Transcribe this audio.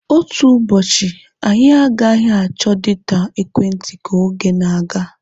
Otu ụbọchị, anyị agaghị achọ data ekwentị ka oge na-aga.